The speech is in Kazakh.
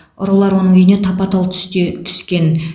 ұрылар оның үйіне тапа тал түсте түскен